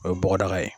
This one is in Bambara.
O ye bɔgɔdaga ye